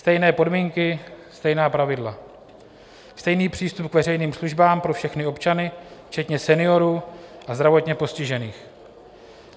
Stejné podmínky, stejná pravidla, stejný přístup k veřejným službám pro všechny občany včetně seniorů a zdravotně postižených.